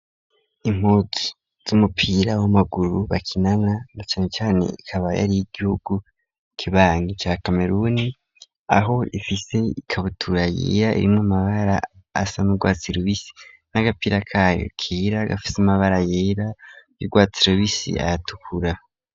Impuzu z'umupira w'amaguru bakinana na cane cane ikaba yari iyigihugu kibanyi ca Kameruni, aho rifise ikabutura yera irimw'amabara asa n'urwatsi rubisi n'agapira kayo kera gafise amabara yera y'urwatsi rubisi nayatukura.